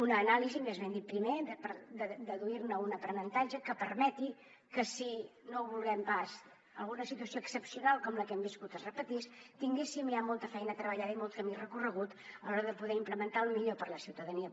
una anàlisi més ben dit primer per deduir ne un aprenentatge que permeti que si no ho vulguem pas alguna situació excepcional com la que hem viscut es repetís tinguéssim ja molta feina treballada i molt camí recorregut a l’hora de poder implementar el millor per a la ciutadania